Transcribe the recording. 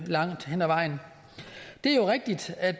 langt hen ad vejen det er jo rigtigt at